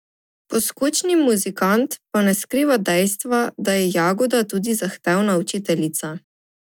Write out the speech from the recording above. Poskočni muzikant pa ne skriva dejstva, da je Jagoda tudi zahtevna učiteljica.